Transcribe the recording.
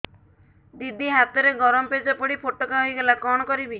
ଦିଦି ହାତରେ ଗରମ ପେଜ ପଡି ଫୋଟକା ହୋଇଗଲା କଣ କରିବି